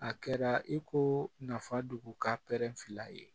A kɛra i ko nafa dogo ka filɛ yen